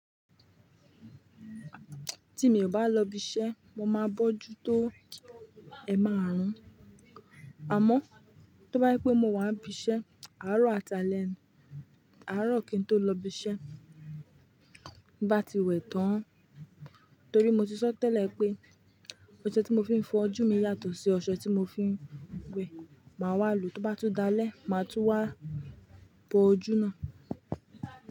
Tí mi ò bá lọ ibi iṣẹ́, mo máa bójú tó ẹ máa rùn. Àmọ́, tó bá yí pé mo wà ní ibi iṣẹ́, àárọ̀ àtàlẹ̀, àárọ̀ kí n tó lọ ibi iṣẹ́, bá ti wẹ̀ tán. Torí mo ti sọ tẹ́lẹ̀ pé, ọṣẹ tí mo fi ń fọ ojú mi yàtọ̀ sí ọṣẹ tí mo fi ń wẹ̀. Máa wà lùú tóbá tún dalẹ́, máa tún wà bọ ojú náà.